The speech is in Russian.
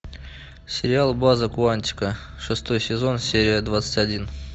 сериал база куантико шестой сезон серия двадцать один